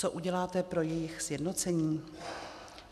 Co uděláte pro jejich sjednocení?